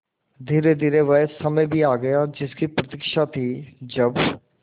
धीरेधीरे वह समय भी आ गया जिसकी प्रतिक्षा थी जब